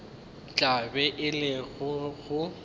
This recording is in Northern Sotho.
tla be e le go